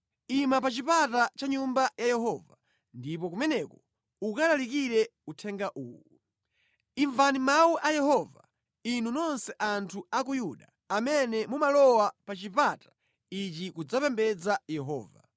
“Ima pa chipata cha Nyumba ya Yehova ndipo kumeneko ukalalikire uthenga uwu: “ ‘Imvani mawu a Yehova, inu nonse anthu a ku Yuda amene mumalowa pa chipata ichi kudzapembedza Yehova.